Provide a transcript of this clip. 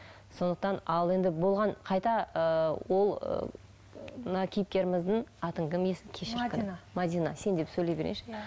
сондықтан ал енді болған қайта ыыы ол ы мына кейіпкеріміздің мәдина сен деп сөйлей берейінші